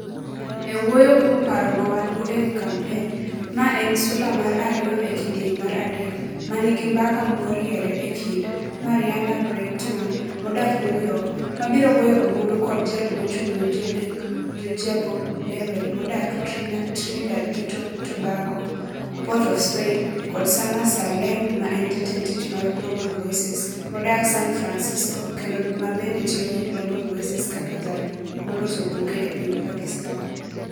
E wuoyo kuom paro ma wan-go e wi kampen, mae en sula mar ariyo e kidieny mar adek, ma nigi mbaka moriere e kind: Marianna Breytman, modak New York, ma biro goyo ombulu kod Jal Mochung' ne Jo-Lingue, Georgia Popplewell, modak Trinidad gi Tobago, Port of Spain, kod Sana Saleem, ma en Jatend Tich mar Global Voices, modak San Francisco kendo ma bende tiyo gi Global Voices kaka Jal Moloso Buge e piny Pakistan.